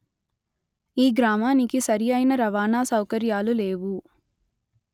ఈ గ్రామానికి సరి అయిన రవాణా సౌకర్యాలు లేవు